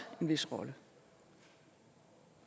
en vis rolle